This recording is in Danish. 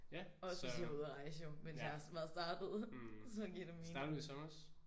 Også hvis I har været ude og rejse jo mens jeg har været startet så giver det mening